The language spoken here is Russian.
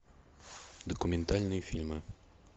документальные фильмы